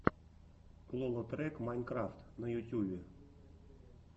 лолотрек майнкрафт на ютюбе